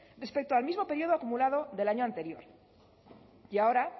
respecto al mismo periodo acumulado del año anterior y ahora